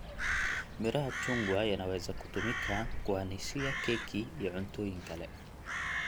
Miraha chungwa yanaweza kutumika kuwanishia keki iyo cuntooyin kale.